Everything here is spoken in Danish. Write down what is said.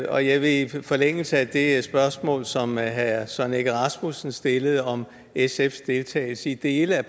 jeg vil i forlængelse af det spørgsmål som herre søren egge rasmussen stillede om sfs deltagelse i dele af